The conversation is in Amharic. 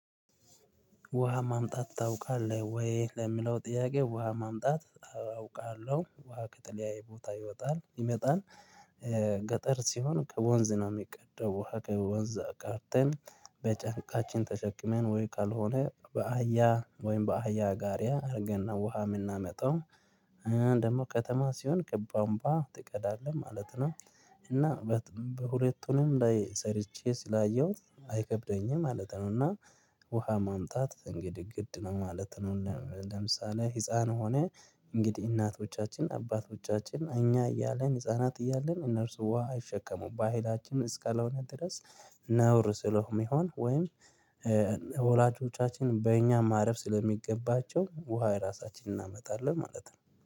ውሃ ማምጣት ታውቃለህ ወይ? ለሚለው ጥያቄ ውሃ ማምጣት አውቃለሁ ውሃ ከተለያየ ቦታ ይወጣል ይመጣል። ገጠር ሲሆን ከወንዝ ነው የሚቀዳው ውሃ ከወንዝ ቀድተን በጫንቃችን ተሸክመን ወይ ካልሆነ በአህያ ወይም በአህያ ጋሪያ አድርገን ነው ውሃ የምናመጣው። ደግሞ ከተማ ሲሆን ከቧንቧ ትቀዳለህ ማለት ነው። እና በሁለቱንም ላይ ሰርቼ ስላየሁት አይከብደኝም ማለት ነው። እና ውሃ ማምጣት እንግዲህ ግድ ነው ማለት ነው። ለም ለምሳሌ ህፃን ሆነ እንግዲህ እናቶቻችን አባቶቻችን እኛ እያለን ህፃናት እያለን እነርሱ ውሃ አይሸከሙም በሃይላችን እስልላሆነ ድረስ ነውር ስለሆነ የሚሆን ወይም ወላጆቻችን በእኛ ማረፍ ስለሚገባቸው ውሃ ራሳችንን እናመጣለን ማለት ነው